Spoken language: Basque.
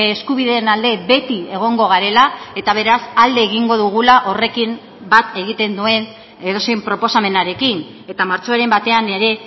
eskubideen alde beti egongo garela eta beraz alde egingo dugula horrekin bat egiten duen edozein proposamenarekin eta martxoaren batean ere